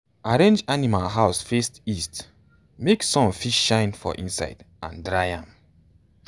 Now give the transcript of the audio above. arrange animal house face east make sun fit shine for inside and dry am.